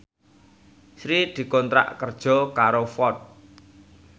Sri dikontrak kerja karo Ford